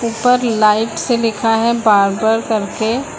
उपर लाइट से लिखा है बारबर करके।